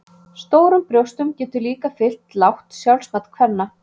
Stórum brjóstum getur líka fylgt lágt sjálfsmat kvenna.